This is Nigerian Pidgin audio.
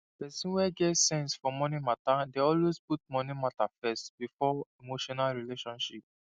person wey get sense for money matter dey always put money matter first before emotional relationship